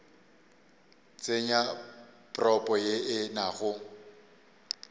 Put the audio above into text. tsenya propo ye e nago